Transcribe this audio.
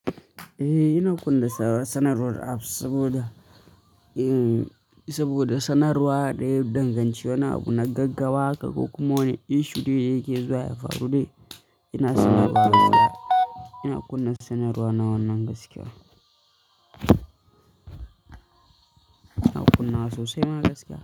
Eh ina kunna sanarwar app saboda, saboda sanarwa da ya danganci wani abu na gaggawa haka ko kuma wani issue da yake zuwa ya faru dai, ina sanarwa muna, ina kunna sanarwa na wannan gaskiya. Ina kunna wa sosai ma gaskiya.